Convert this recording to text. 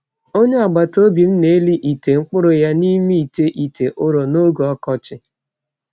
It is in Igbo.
Onye agbata obi m na-eli ite mkpụrụ ya n’ime ite ite ụrọ n’oge ọkọchị.